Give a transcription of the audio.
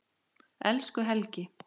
Elsku Helgi.